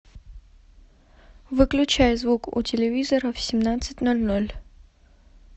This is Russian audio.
выключай звук у телевизора в семнадцать ноль ноль